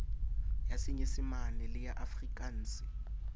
ya senyesemane le ya afrikanse